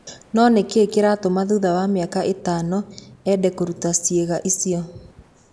No nĩ kĩĩ kĩratũma thutha wa mĩaka ĩtano ende kũruta ciĩga icio?